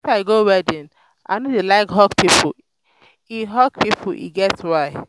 if i go wedding i no dey like hug pipo e hug pipo e get why.